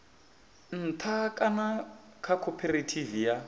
nṱha kana kha khophorethivi ya